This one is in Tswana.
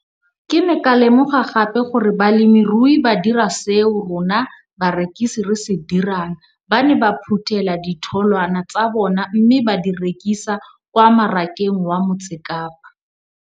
Ke ne ka lemoga gape gore balemirui ba dira seo rona barekisi re se dirang - ba ne ba phuthela ditholwana tsa bona mme ba di rekisa kwa marakeng wa Motsekapa.